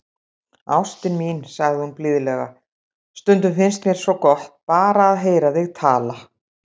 Ástin mín, sagði hún blíðlega,- stundum finnst mér svo gott, bara að heyra þig tala.